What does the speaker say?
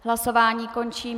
Hlasování končím.